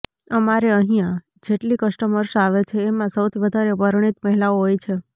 અમારે અહીંયા જેટલી કસ્ટમર્સ આવે છે એમાં સૌથી વધારે પરણિત મહિલાઓ હોય છે